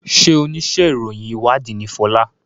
ṣe onísé ìròyìn ìwádìí ní Fola?